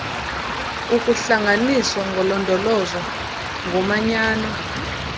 ukuhlanganiswa kolondolozo ngomanyano